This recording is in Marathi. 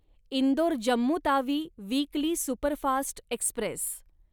Indore Jammu Tawi weekly superfast Express